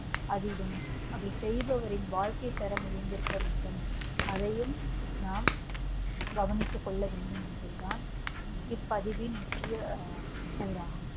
அதிலும் அதை செய்பவரின் வாழ்க்கைதரம் உயர்ந்திருக்கவேண்டும் அதையும் நாம் கவனித்துக் கொள்ளவேண்டும் என்பது தான் இப்பதிவின் முக்கிய கூறாகும்